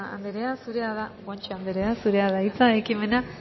anderea guanche anderea zurea da hitza ekimena